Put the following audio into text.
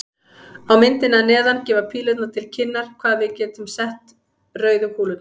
Á myndinni að neðan gefa pílurnar til kynna hvar við getum sett rauðu kúlurnar.